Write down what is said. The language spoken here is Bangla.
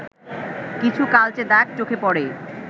কিছু কালচে দাগ চোখে পড়ে